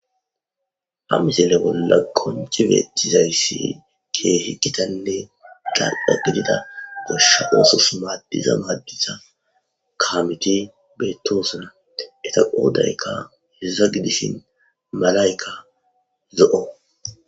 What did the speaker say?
Ha misele bolla konchi beettizayssi ke hiqkitanne galqa gidida goshsha oosos maadiza maaddiza kaamiti beettosuna eta qoodaykka hesaza gidishin malayka zo7o.